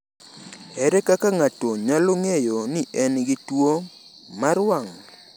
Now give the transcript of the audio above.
Ere kaka ng’ato nyalo ng’eyo ni en gi tuwo mar wang’?